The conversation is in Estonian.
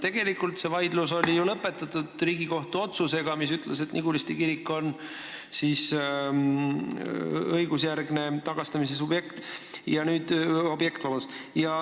Tegelikult see vaidlus lõpetati Riigikohtu otsusega, mis ütles, et Niguliste kirik on õigusjärgne tagastamise objekt.